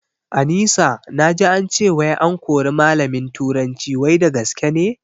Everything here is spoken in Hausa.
Anisa naji ance wai an kori malamin turanci wai da gaske ne?